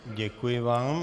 Děkuji vám.